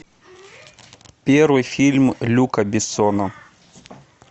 первый фильм люка бессона